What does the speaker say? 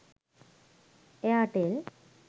airtel